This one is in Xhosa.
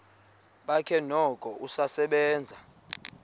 bakhe noko usasebenza